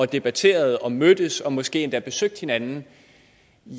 debatteret og mødtes og måske endda besøgt hinanden